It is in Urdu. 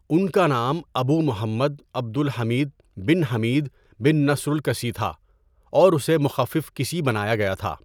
ان کا نام أبو محمد عبد الحميد بن حميد بن نصر الكسی تھا اور اسے مخفف کسی بنایا گیا تھا.